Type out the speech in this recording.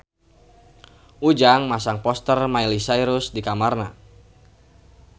Ujang masang poster Miley Cyrus di kamarna